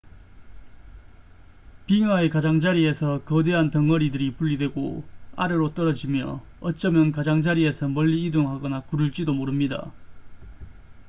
빙하의 가장자리에서 거대한 덩어리들이 분리되고 아래로 떨어지며 어쩌면 가장자리에서 멀리 이동하거나 구를지도 모릅니다